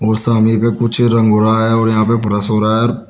और सामने पे कुछ रंग हो रहा है और यहां पे पूरा सो रहा है।